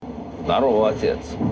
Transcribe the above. здарово отец